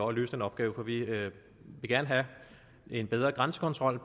at løse den opgave for vi vil gerne have en bedre grænsekontrol